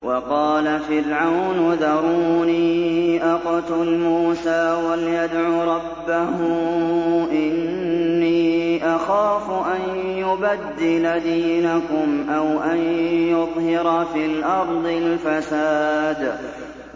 وَقَالَ فِرْعَوْنُ ذَرُونِي أَقْتُلْ مُوسَىٰ وَلْيَدْعُ رَبَّهُ ۖ إِنِّي أَخَافُ أَن يُبَدِّلَ دِينَكُمْ أَوْ أَن يُظْهِرَ فِي الْأَرْضِ الْفَسَادَ